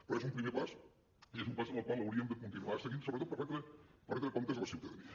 però és un primer pas i és un pas en el qual hauríem de continuar seguint sobretot per retre comptes a la ciutadania